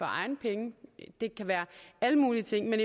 egne penge det kan være alle mulige ting men